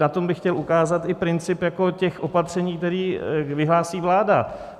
Na tom bych chtěl ukázat i princip těch opatření, která vyhlásí vláda.